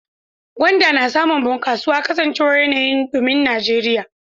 Gwanda na samun bunkasuwa kasancewar yanayin dumin Najeriya.